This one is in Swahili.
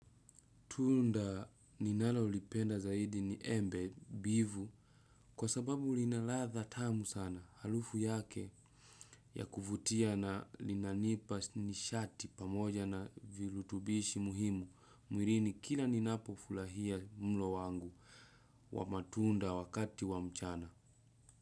Tunda ninalolipenda zaidi ni embe mbivu kwa sababu lina ladha tamu sana. Harufu yake ya kuvutia na linanipa nishati pamoja na virutubishi muhimu mwilini kila ninapofurahia mlo wangu wa matunda wakati wa mchana.